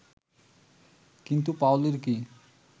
কিন্তু পাওলীর কি